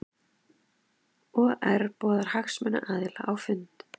OR boðar hagsmunaaðila á fund